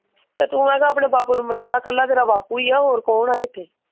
ਤੇ ਤੂੰ ਮੈਂ ਕਿਹਾ ਆਪਣੇ ਬਾਪੂ ਨੂੰ ਮਨ ਲਾ ਕੱਲਾ ਤੇਰਾ ਬਾਪੂ ਹੀ ਆ ਹੋਰ ਕੌਹ ਆ ਇਥੇ।